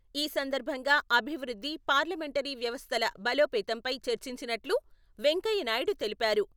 ఈ సందర్భంగా అభివృద్ధి, పార్లమెంటరీ వ్యవస్థల బలోపేతంపై చర్చించినట్లు వెంకయ్య నాయుడు తెలిపారు.